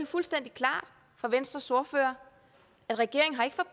fuldstændig klart fra venstres ordfører at regeringen